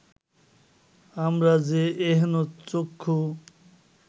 আমরা যে এহেন চক্ষু